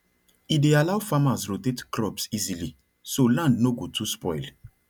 e dey allow farmers rotate crops easily so land no go too spoil